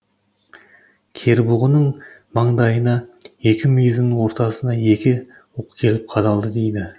кербұғының маңдайына екі мүйізінің ортасына екі оқ келіп қадалды дейді